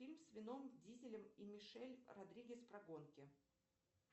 фильм с вином дизелем и мишель родригес про гонки